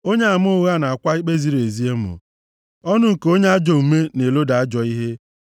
Onyeama ụgha na-akwa ikpe ziri ezi emo. Ọnụ nke onye ajọ omume na-eloda ajọ ihe.